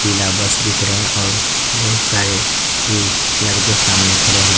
पीला बस दिख रहे हैं और बोहोत सारे ल लड़के सामने खड़े हैं --